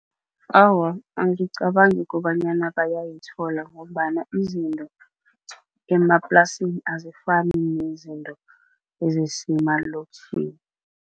Awa, angicabangi kobanyana bayayithola ngombana izinto emaplasini azifani nezinto ezisemalokitjhini.